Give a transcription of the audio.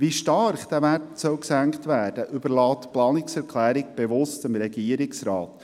Wie stark dieser Wert gesenkt werden soll, überlässt die Planungserklärung bewusst dem Regierungsrat.